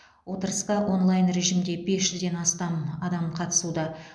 отырысқа онлайн режимде бес жүзден астам қатысуда